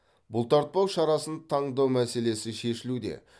бұлтартпау шарасын таңдау мәселесі шешілуде